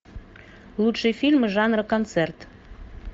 лучшие фильмы жанра концерт